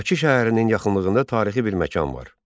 Bakı şəhərinin yaxınlığında tarixi bir məkan var.